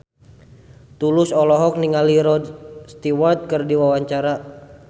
Tulus olohok ningali Rod Stewart keur diwawancara